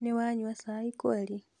nĩwanyua cai kweli?